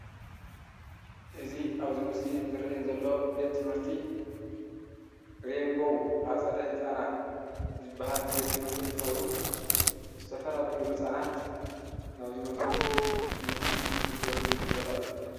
እዚ ኣብዚ ምስሊ እዚ ዝርአየኒ ዘሎ ቤት ትምህርቲ ሬይንቦው ኣፀደ ህፃናት ዝበሃል ቤት ትምህርቲ እንትኸውን ዝተፈላለዩ ህፃናት ናብዚ መዚኦም ትምህርቲ ዝግልገልሉ ቦታ እዩ፡፡